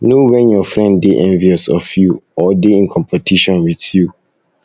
know when your friend de envious of you or de in competition with you